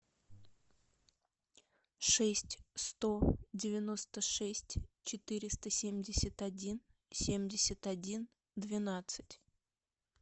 шесть сто девяносто шесть четыреста семьдесят один семьдесят один двенадцать